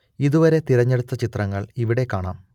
ഇതുവരെ തിരഞ്ഞെടുത്ത ചിത്രങ്ങൾ ഇവിടെ കാണാം